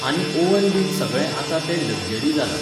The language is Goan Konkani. आनी ऑव्हन बीन सगळें आतां तें लग्जरी जालां.